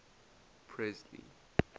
presley